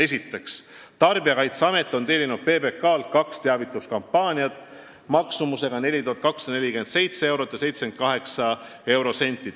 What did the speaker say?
Esiteks, Tarbijakaitseamet tellis PBK-lt kaks teavituskampaaniat maksumusega 4247 eurot ja 78 eurosenti.